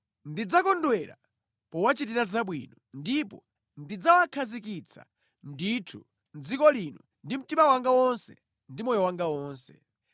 Ndidzakondwera powachitira zabwino, ndipo ndidzawakhazikitsa ndithu mʼdziko lino ndi mtima wanga wonse ndi moyo wanga wonse.